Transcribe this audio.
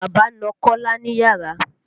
Bàbá na kọ́lá níyàrà.